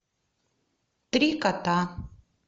три кота